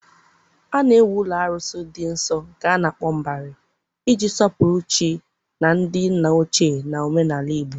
A na-ewu ụlọ arụsị dị nsọ, nke a na-akpọ Mbari, iji sọpụrụ chi na ndị nna ochie na omenala Igbo.